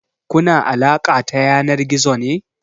Kuna alaƙa ta yanar gizo ne?